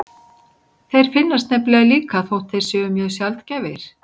Þeir finnast nefnilega líka þótt þeir séu mjög sjaldgæfir.